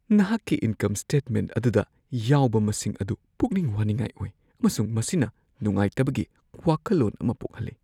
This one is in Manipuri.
ꯅꯍꯥꯛꯀꯤ ꯏꯟꯀꯝ ꯁ꯭ꯇꯦꯠꯃꯦꯟꯠ ꯑꯗꯨꯗ ꯌꯥꯎꯕ ꯃꯁꯤꯡ ꯑꯗꯨ ꯄꯨꯛꯅꯤꯡ ꯋꯥꯅꯤꯡꯉꯥꯏ ꯑꯣꯏ, ꯑꯃꯁꯨꯡ ꯃꯁꯤꯅ ꯅꯨꯡꯉꯥꯏꯇꯕꯒꯤ ꯋꯥꯈꯜꯂꯣꯟ ꯑꯃ ꯄꯣꯛꯍꯜꯂꯤ ꯫